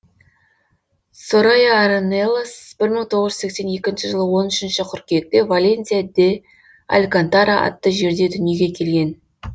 сорайя арнелас бір мың тоғыз жүз сексен екінші жылы он үшінші қыркүйекте валенсия де алькантара атты жерде дүниеге келген